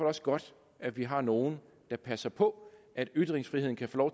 også godt at vi har nogle der passer på at ytringsfriheden kan få